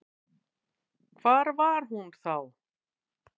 Hvar var hún þá?